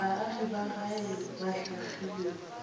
baagi ba gae ba hlahlilwego